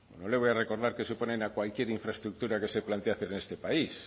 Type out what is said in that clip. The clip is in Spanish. bueno no le voy a recordar que se oponen a cualquier infraestructura que se plantea hacer en este país